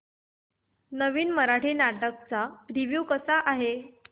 नवीन मराठी नाटक चा रिव्यू कसा आहे